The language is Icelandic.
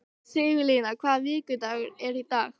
Sigurlín, hvaða vikudagur er í dag?